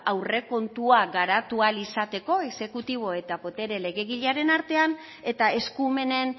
aurrekontua garatu ahal izateko exekutibo eta botere legegilearen artean eta eskumenen